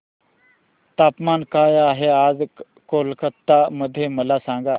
तापमान काय आहे आज कोलकाता मध्ये मला सांगा